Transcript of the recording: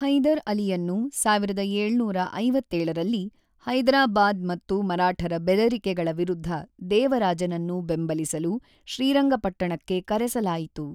ಹೈದರ್ ಅಲಿಯನ್ನು ೧೭೫೭ರಲ್ಲಿ ಹೈದರಾಬಾದ್ ಮತ್ತು ಮರಾಠರ ಬೆದರಿಕೆಗಳ ವಿರುದ್ಧ ದೇವರಾಜನನ್ನು ಬೆಂಬಲಿಸಲು ಶ್ರೀರಂಗಪಟ್ಟಣಕ್ಕೆ ಕರೆಸಲಾಯಿತು.